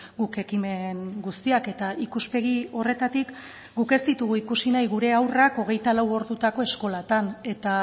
guk ekimen guztiak eta ikuspegi horretatik guk ez ditugu ikusi nahi gure haurrak hogeita lau ordutako eskolatan eta